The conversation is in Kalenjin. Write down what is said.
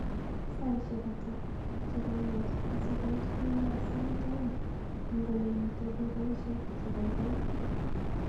Saishek ata cheganget asigoit kemboi sait aeng eng olemiten dukaishek chegoigoi